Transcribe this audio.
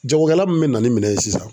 Jagokɛla min bɛ na ni minɛ ye sisan.